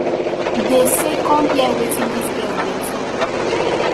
dem say come hear wetin dis girl dey tok